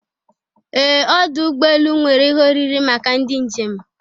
Ee! Ọdụ ụgbọ elu nwere ihe oriri maka ndị njem.